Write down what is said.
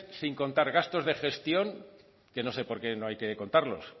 sin contar gastos de gestión que no sé por qué no hay que contarlos